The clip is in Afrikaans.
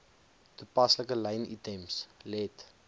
toepaslike lynitems let